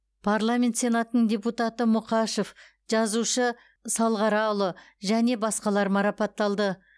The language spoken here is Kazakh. парламент сенатының депутаты мұқашев жазушы салғараұлы және басқалар марапатталды